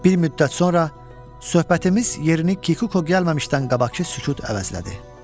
Bir müddət sonra söhbətimiz yerini Kikuko gəlməmişdən qabaqkı sükut əvəzlədi.